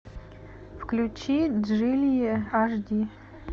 включи джили аш ди